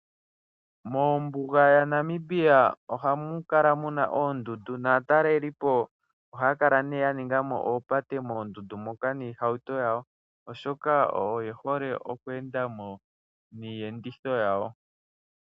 Mombuga yaNamibia omu na oondundu naatalelipo ohaya kala nduno ya ninga mo oopate niihauto yawo, oshoka oye hole oku enda mo niiyenditho yawo.